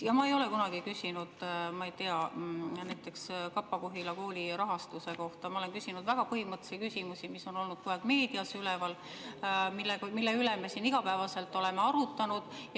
Ma ei ole kunagi küsinud näiteks Kapa-Kohila kooli rahastuse kohta, vaid olen küsinud väga põhimõttelisi küsimusi, mis on olnud kogu aeg meedias üleval ja mille üle me siin igapäevaselt oleme arutanud.